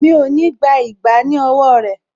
Mi ò ní gbà ìgbá ní owó rẹ̀